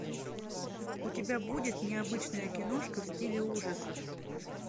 у тебя будет необычная киношка в стиле ужасов